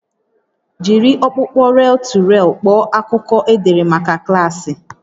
Jiri ọkpụkpọ rel-to-rel kpọọ akụkọ edere maka klaasị